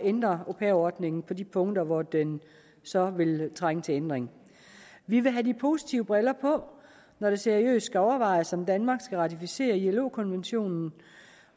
ændre au pair ordningen på de punkter hvor den så vil trænge til ændring vi vil have de positive briller på når det seriøst skal overvejes om danmark skal ratificere ilo konventionen